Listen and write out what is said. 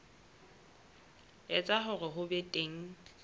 etsa hore ho be teng